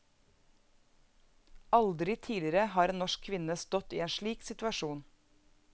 Aldri tidligere har en norsk kvinne stått i en slik situasjon.